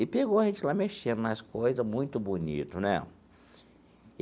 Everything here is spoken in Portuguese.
E pegou a gente lá mexendo nas coisas, muito bonito, né?